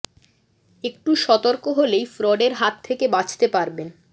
একটু সতর্ক হলেই ফ্রডের হাত থেকে বাঁচতে পারবেন